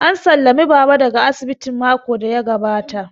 An sallami Baba daga asibiti makon da ya gabata